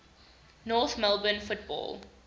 north melbourne football